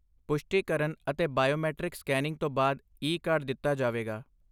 ਪੁਸ਼ਟੀ ਕਰਨ ਅਤੇ ਬਾਇਓਮੈਟ੍ਰਿਕ ਸਕੈਨਿੰਗ ਤੋਂ ਬਾਅਦ ਈ ਕਾਰਡ ਦਿੱਤਾ ਜਾਵੇਗਾ